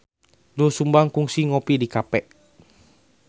Doel Sumbang kungsi ngopi di cafe